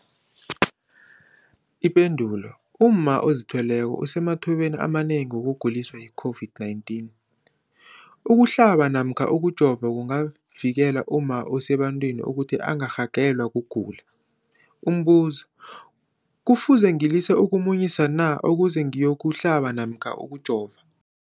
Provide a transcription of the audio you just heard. Ipendulo, umma ozithweleko usemathubeni amanengi wokuguliswa yi-COVID-19. Ukuhlaba namkha ukujova kungavikela umma osebantwini ukuthi angarhagalelwa kugula. Umbuzo, kufuze ngilise ukumunyisa na ukuze ngiyokuhlaba namkha ngiyokujova?